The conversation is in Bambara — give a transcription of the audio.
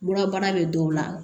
Mura bɛ dɔw la